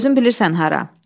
Özün bilirsən hara.